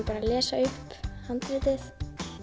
bara að lesa upp handritið